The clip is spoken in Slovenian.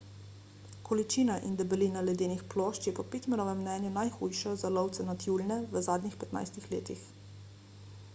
količina in debelina ledenih plošč je po pittmanovem mnenju najhujša za lovce na tjulnje v zadnjih 15 letih